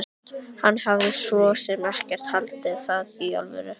Hann hafði svo sem ekki haldið það í alvöru.